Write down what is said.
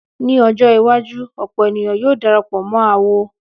Ní ọjọ́ iwájú, ọ̀pọ̀ ènìyàn yóò darapọ̀ mọ́ awo.